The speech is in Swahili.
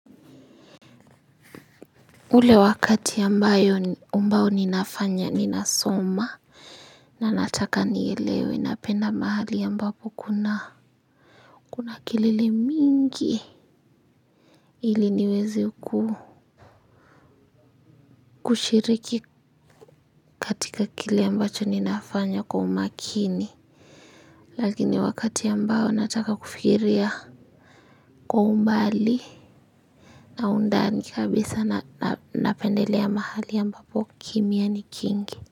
Ule wakati ambayo ambao ninafanya ninasoma na nataka nielewe napenda mahali ambapo kuna kelele mingi ili niweze ku kushiriki katika kile ambacho ninafanya kwa umakini lakini wakati ambao nataka kufikiria kwa umbali na undani kabisa napendelea mahali ambapo kimya ni kingi.